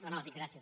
no no dic gràcies